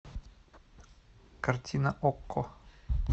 картина окко